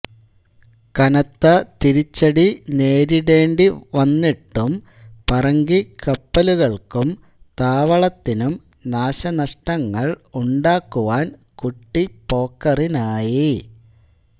കനത്ത തിരിച്ചടി നേരിണ്ടേണ്ടി വന്നിട്ടും പറങ്കി കപ്പലുകൾക്കും താവളത്തിനും നാശനഷ്ടങ്ങൾ ഉണ്ടാക്കുവാൻ കുട്ടിപോക്കറിനായി